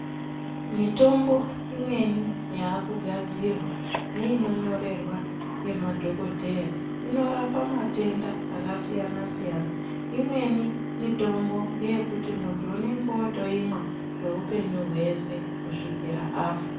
Mitombo imweni yakugadzirwa neinonyorerwa ngemadhogodheya inorapa matenda akasiyana siyana .Imweni mutombo ngeyekuti muntu unenge otoimwa kweupenyu hweshe kusvikira afa.